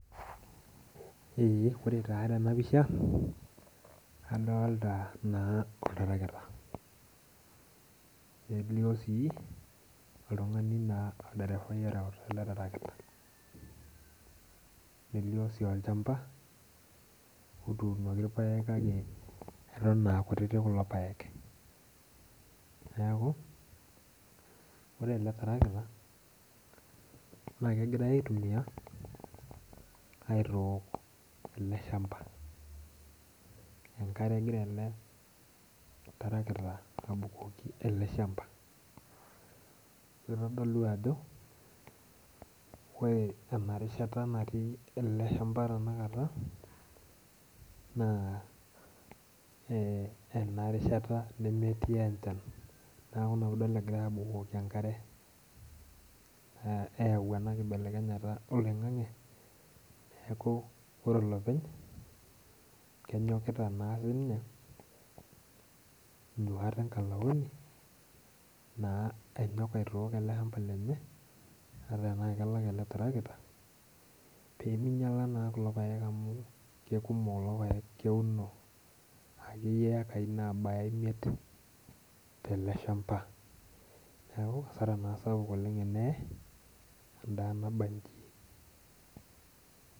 Ee ore taa tenapisha, adolta naa oltarakita. Nelio si, oltung'ani naa olderefai oreuta ele tarakita. Nelio si olchamba, otuunoki irpaek kake eton akutitik kulo paek. Neeku, ore ele tarakita, na kegirai aitumia, aitook ele shamba. Enkare egira ele tarakita abukoki ele shamba. Kitodolu ajo, ore enarishata natii ele shamba tanakata, naa enarishata nemetii enchan. Neeku ina pidol egirai abukoki enkare. Eyau enakibelekenyata oloing'ang'e, neeku ore olopeny, kenyokita naa ninye, inyuat enkalaoni, naa anyok aitook ele shamba lenye, ata enaa kelak ele tarakita, peminyala naa kulo paek amu kekumok kulo paek keuno akeyie ekai nabaya imiet tele shamba. Neeku, asara naa sapuk oleng teneye, endaa nabaji.